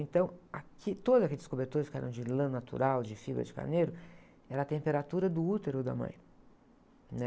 Então, aquilo, todos aqueles cobertores que eram de lã natural, de fibra de carneiro, era a temperatura do útero da mãe, né?